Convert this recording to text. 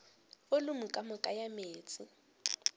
volumo ka moka ya meetse